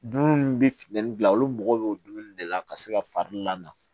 Dumuni min bɛ finne bila olu mago bɛ dumuni de la ka se ka fari lamɔ